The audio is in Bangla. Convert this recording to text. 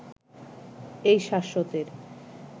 এই শ্বাশতের